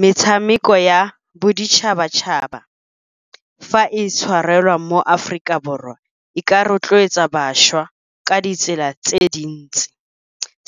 Metshameko ya boditšhabatšhaba fa e tshwarelwa mo Aforika Borwa e ka rotloetsa bašwa ka ditsela tse dintsi.